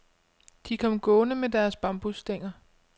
De kom gående med deres bambusstænger.